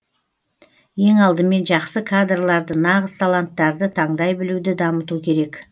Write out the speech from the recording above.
ең алдымен жақсы кадрларды нағыз таланттарды таңдай білуді дамыту керек